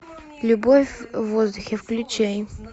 любовь в воздухе включай